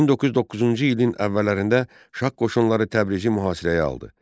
1909-cu ilin əvvəllərində şah qoşunları Təbrizi mühasirəyə aldı.